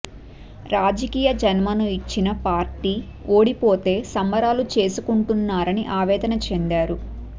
రాజకీయ జన్మను ఇచ్చిన పార్టీ ఓడిపోతే సంబరాలు చేసుకుంటున్నారని ఆవేదన చెందారు